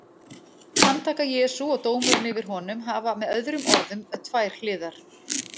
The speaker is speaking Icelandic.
Handtaka Jesú og dómurinn yfir honum hafa með öðrum orðum tvær hliðar.